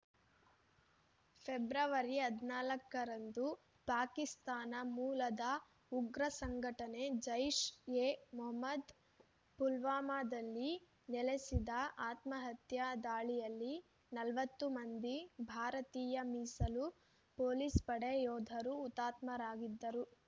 February ಹದಿನಾಲ್ಕರಂದು ಪಾಕಿಸ್ತಾನ ಮೂಲದ ಉಗ್ರ ಸಂಘಟನೆ ಜೈಷ್ ಎ ಮೊಹ್ಮದ್ ಪುಲ್ವಾಮಾದಲ್ಲಿ ನೆಲೆಸಿದ ಆತ್ಮಹತ್ಯಾ ದಾಳಿಯಲ್ಲಿ ನಲವತ್ತು ಮಂದಿ ಭಾರತೀಯ ಮೀಸಲು ಪೊಲೀಸ್ ಪಡೆ ಯೋಧರು ಹುತ್ಮಾತರಾಗಿದ್ದರು